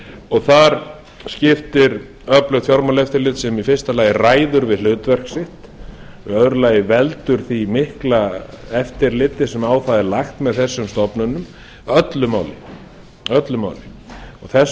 og þar skiptir öflugt fjármálaeftirlit sem í fyrsta lagi ræður við hlutverk sitt og í öðru lagi veldur því mikla eftirliti sem á það er lagt með þessum stofnunum öllu máli þess